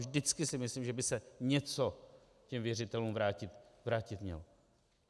Vždycky si myslím, že by se něco těm věřitelům vrátit mělo.